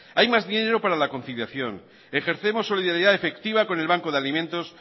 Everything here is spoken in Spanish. hay más dinero para la conciliación ejercemos solidaridad efectiva con el banco de alimentos